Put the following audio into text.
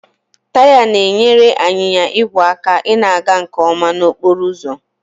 Taya na-enyere anyịnya igwe aka ịna-aga nke ọma n'okporo ụzọ